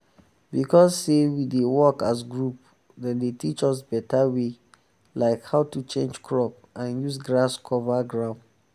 because say we dey work as group dem dey teach us better way like how to change crop and use grass cover ground.